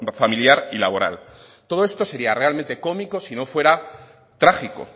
familiar y laboral todo esto sería realmente cómico sino fuera trágico